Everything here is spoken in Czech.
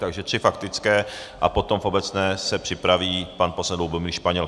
Takže tři faktické a potom v obecné se připraví pan poslanec Lubomír Španěl.